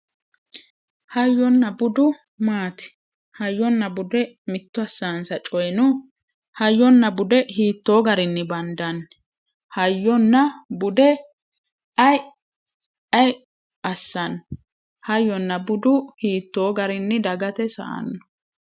Hayyonna budu maati hayyonna bude mitto assansa coyi no hayyonna bude hiittooo garinni bandanni hayyonna bude aye assanno hayyonna budu hiittoo garinni dagate sa"anno